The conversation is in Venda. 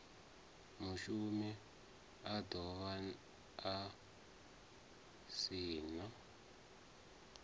mushumi a dovha a saina